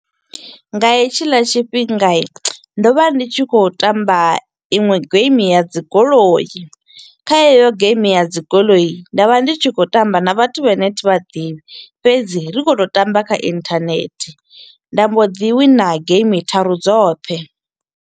Nga hetshila tshifhingai, ndo vha ndi tshi kho u tamba iṅwe game ya dzi goloi, kha heyo game ya dzi goloi nda vha ndi tshi kho u tamba na vhathu vha ne thi vha ḓivhi, fhedzi ri kho u to u tamba kha inthanehe, nda mbo ḓi winner game tharu dzoṱhe.